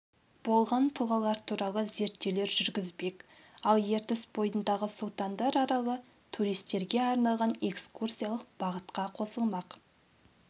болған тұлғалар туралы зерттеулер жүргізбек ал ертіс бойындағы сұлтандар аралы туристерге арналған экскурсиялық бағытқа қосылмақ